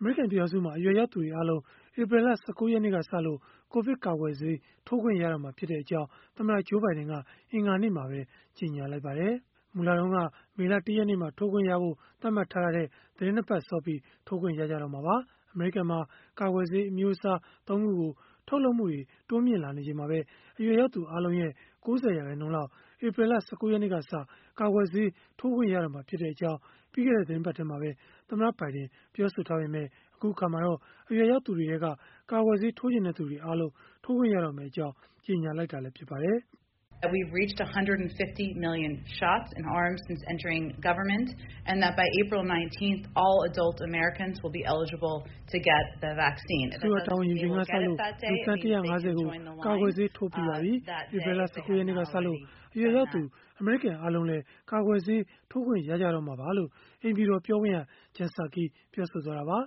အမေရိကန် ပြည်ထောင်စုမှာ အရွယ်ရောက်သူတွေအားလုံး ဧပြီလ ၁၉ ရက်နေ့ကစလို့ ကိုဗစ်ကာကွယ်ဆေးထိုးခွင့် ရတော့မှာဖြစ်ကြောင်း သမ္မတ Joe Biden က အင်္ဂါနေ့မှာပဲ ကြေညာလိုက်ပါတယ်။ မူလက မေလ ၁ ရက်နေ့မှာ ထိုးခွင့်ရဖို့ သတ်မှတ်ထားတာထက် သီတင်း ၂ ပတ်စောပြီး ထိုးခွင့်ရကြတော့မှာပါ။ အမေရိကန်မှာ ကာကွယ်ဆေး အမျိုးအစား ၃ ခုကို ထုတ်လုပ်မှုတွေ တိုးလာနေချိန်မှာပဲ အရွယ်ရောက်သူ အားလုံးရဲ့ ၉၀ ရာခိုင်နှုန်းလောက် ဧပြီလ ၁၉ ရက်နေ့ကစ ကာကွယ်ဆေးထိုးခွင့် ရတော့မှာဖြစ်ကြောင်း ပြီးခဲ့တဲ့ သီတင်းပတ်ထဲမှာပဲ သမ္မတ ဘိုင်ဒင် ပြောဆိုထားပေမဲ့ အခုအခါမှာတော့ အရွယ်ရောက်သူတွေထဲက ကာကွယ်ဆေးထိုးချင်တဲ့သူတွေအားလုံး ထိုးခွင့်ရမယ့်အကြောင်း ကြေညာလိုက်တာ ဖြစ်ပါတယ်။ “အစိုးရတာဝန် ယူချိန်ကစလို့ လူသန်း ၁၅၀ ကို ကာကွယ်ဆေး ထိုးပေးပြီးပါပြီ။ ဧပြီလ ၁၉ ရက်နေ့ကစလို့ အရွယ်ရောက်သူ အမေရိကန်အားလုံးလည်း ကာကွယ်ဆေးထိုးခွင့် ရတော့မှာပါ။” လို့ အိမ်ဖြူတော်ပြောခွင့်ရ Jen Psaki ပြောဆိုသွားတာပါ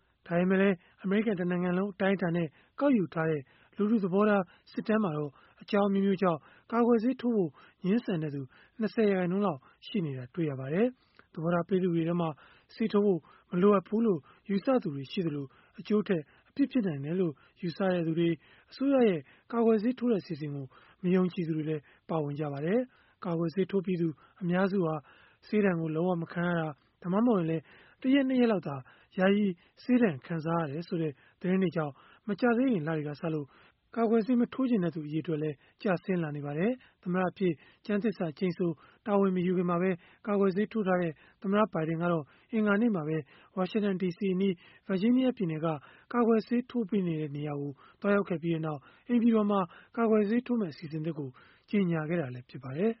။ ဒါပေမဲ့လည်း အမေရိကန် တနိုင်ငံလုံး အတိုင်းအတာနဲ့ ကောက်ယူထားတဲ့ လူထုသဘောထား စစ်တမ်းမှာတော့ အကြောင်းအမျိုးမျိုးကြောင့် ကာကွယ်ဆေးထိုးဖို့ ငြင်းဆန်တဲ့သူ ၂၀ ရာခိုင်နှုန်းလောက် ရှိနေတာ တွေ့ရပါတယ်။ သဘောထား ပေးသူတွေထဲမှာတော့ ဆေးထိုးဖို့ မလိုအပ်ဘူးလို့ ယူဆသူတွေ ရှိသလို၊ အကျိုးထက် အပြစ်ဖြစ်နိုင်တယ်လို့ ယူဆသူတွေ၊ အစိုးရရဲ့ ကာကွယ်ဆေးထိုးတဲ့ အစီအစဉ်ကို မယုံကြည်သူတွေလည်း ပါဝင်ကြပါတယ်။ ကာကွယ်ဆေးထိုးပြီးသူ အများစုဟာ ဆေးဒဏ်လုံး၀ မခံရတာ၊ ဒါမှမဟုတ်ရင်လည်း ၁ ရက် ၂ ရက်လောက်သာ ယာယီဆေးဒဏ်ခံစားရတယ်ဆိုတဲ့ သတင်းတွေကြောင့် မကြာသေးခင်လတွေကစလို့ ကာကွယ်ဆေး မထိုးချင်တဲ့သူ အရေအတွက် ကျဆင်းလာနေပါတယ်။ သမ္မတအဖြစ် ကျမ်းသစ္စာကျိန်ဆို တာဝန်မယူခင်မှာပဲ ကာကွယ်ဆေးထိုးထားတဲ့ သမ္မတ ဘိုင်ဒင်ကတော့ အင်္ဂါနေ့မှာပဲ ဝါရှင်တန်ဒီစီအနီး ဗာဂျီးနီးယားပြည်နယ်က ကာကွယ်ဆေးထိုးပေးနေတဲ့ နေရာကို သွားရောက်ခဲ့ပြီးနောက် အိမ်ဖြူတော်မှာ ကာကွယ်ဆေးထိုးမယ့် အစီအစဉ်သစ်ကို ကြေညာခဲ့တာ ဖြစ်ပါတယ်။